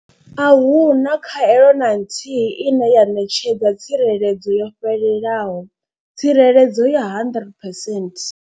Ahuna khaelo na nthihi ine ya ṋetshedza tsireledzo yo fhelelaho tsireledzo ya 100 percent.